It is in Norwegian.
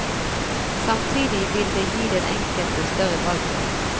Samtidig vil det gi den enkelte større valgfrihet.